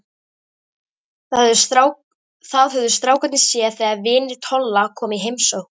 Það höfðu strákarnir séð þegar vinir Tolla komu í heimsókn.